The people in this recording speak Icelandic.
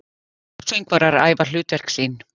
Söngvarar æfa hlutverk sín.